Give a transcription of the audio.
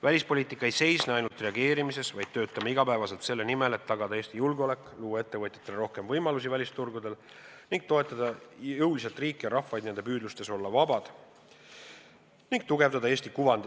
Välispoliitika ei seisne ainult reageerimises, vaid me töötame igapäevaselt selle nimel, et tagada Eesti julgeolek, luua Eesti ettevõtjatele rohkem võimalusi välisturgudel ning toetada jõuliselt riike ja rahvaid nende püüdlustes olla vabad ning tugevdada Eesti kuvandit.